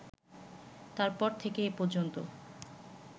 তার পর থেকে এ পর্যন্ত